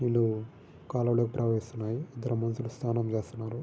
నీళ్లు కాల్వలోకి ప్రవహిస్తున్నాయి. ఇద్దరు మనుషులు సాన్నం చేస్తున్నారు.